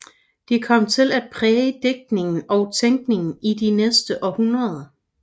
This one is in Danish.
De kom til at præge digtning og tænkning i de næste århundreder